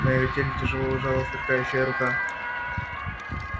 на её теле тяжело лежала сверкающая рука